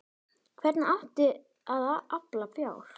Hvernig átti að afla fjár?